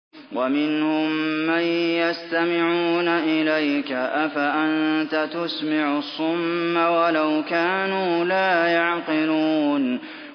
وَمِنْهُم مَّن يَسْتَمِعُونَ إِلَيْكَ ۚ أَفَأَنتَ تُسْمِعُ الصُّمَّ وَلَوْ كَانُوا لَا يَعْقِلُونَ